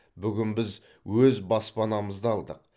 бүгін біз өз баспанамызды алдық